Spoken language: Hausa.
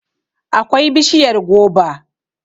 akwai bishiyar goba